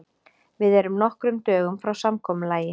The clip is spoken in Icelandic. Við erum nokkrum dögum frá samkomulagi.